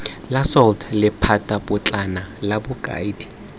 la salt lephatapotlana la bokaedi